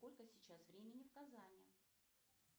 сколько сейчас времени в казани